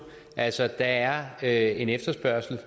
altså der er en efterspørgsel